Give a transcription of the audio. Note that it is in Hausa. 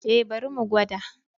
E, bari mu gwada.